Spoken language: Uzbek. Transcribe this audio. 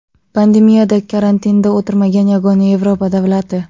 Pandemiyada karantinda o‘tirmagan yagona Yevropa davlati.